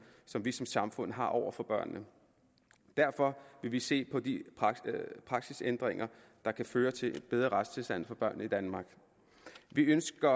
som vi som samfund har over for børnene derfor vil vi se på de praksisændringer der kan føre til en bedre retstilstand for børnene i danmark vi ønsker